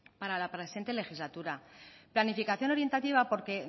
para la presente legislatura planificación orientativa porque